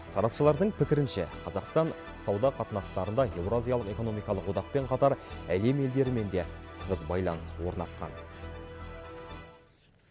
сарапшылардың пікірінше қазақстан сауда қатынастарында еуразиялық экономикалық одақпен қатар әлем елдерімен де тығыз байланыс орнатқан